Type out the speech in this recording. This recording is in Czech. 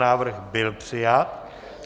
Návrh byl přijat.